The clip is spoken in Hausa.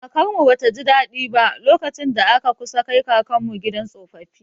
Kakarmu ba ta ji daɗi ba, lokacin da aka kusa kai kakanmu gidan tsofaffi.